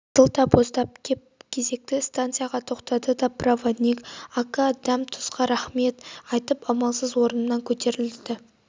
сызылта боздап кеп кезекті станцияға тоқтады да проводник ака дәм-тұзға рахмет айтып амалсыз орнынан көтерілді